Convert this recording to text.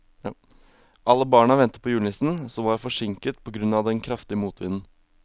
Alle barna ventet på julenissen, som var forsinket på grunn av den kraftige motvinden.